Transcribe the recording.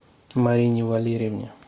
марине валерьевне